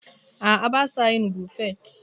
A'a, ba sa yin Buffet.